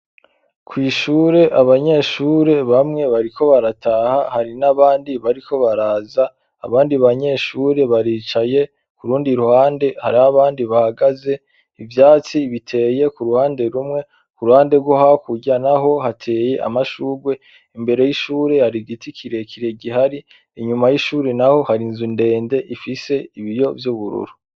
Kw' ishure abanyeshure bamwe bariko barataha; hari n'abandi bariko baraza. Abandi banyeshure bicaye k'urundi ruhande; hari abandi bahagaze. Ivyatsi biteye ku ruhande rumwe. Ku ruhande rwo hakurya naho hateye amashurwe. Imbere y'ishure hari giti kirekire gihari; inyuma y'ishuri naho hari inzu ndende ifise ibiyo vy'ubururu